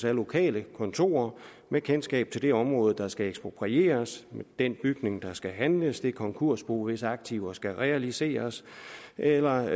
af lokale kontorer med kendskab til det område der skal eksproprieres til den bygning der skal handles til det konkursbo hvis aktiver skal realiseres eller